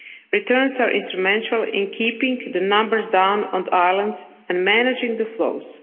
Returns are instrumental in keeping the numbers down on the islands and managing the flows.